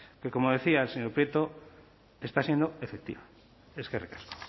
que como decía el señor prieto está siendo efectiva eskerrik asko